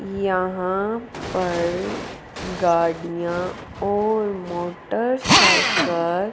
यहां पर गाड़ियां और मोटरसाइकिल --